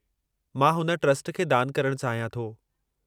मां हुन ट्रस्ट खे दान करणु चाहियां थो।